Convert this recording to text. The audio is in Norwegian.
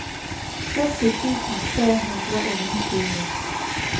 førti tusen tre hundre og nittini